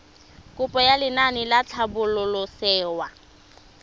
kopo ya lenaane la tlhabololosewa